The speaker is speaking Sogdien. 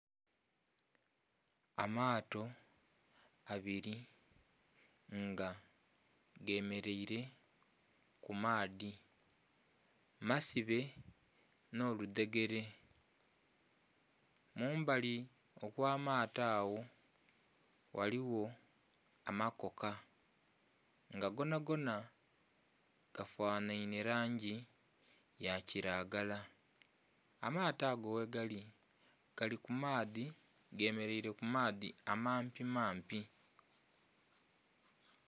Amaato abiri nga gemeleile ku maadhi masibe nh'oludhegele mumbali okw'amaato agho ghaligho amakoka nga gonagona gafanhainhe langi ya kilagala. Amaato ago ghe gali, gali ku maadhi gemeleile ku maadhi amampimampi.